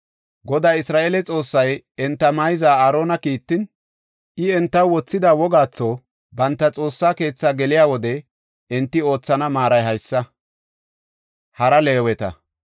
Goday Isra7eele Xoossay enta mayza Aarona kiittin, I entaw wothida wogaatho, banta Xoossa keetha geliya wode, enti oothana maaray haysa.